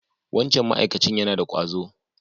Wancan ma'akacin yana da ƙwazo.